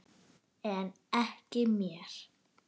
En ekki mér.